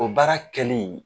O baara kɛli